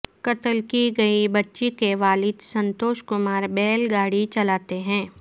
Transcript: قتل کی گئی بچی کے والد سنتوش کمار بیل گاڑی چلاتے ہیں